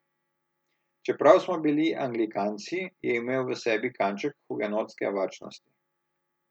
Čeprav smo bili anglikanci, je imel v sebi kanček hugenotske varčnosti.